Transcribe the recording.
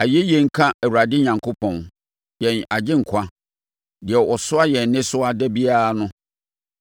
Ayɛyie nka Awurade Onyankopɔn, yɛn Agyenkwa, deɛ ɔsoa yɛn nnesoa da biara no.